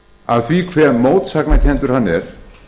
af því hve mótsagnakenndur hann er